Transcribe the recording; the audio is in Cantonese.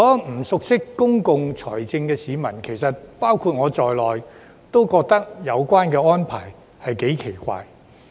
不熟悉公共財政的市民，包括我在內，其實都覺得有關安排頗奇怪。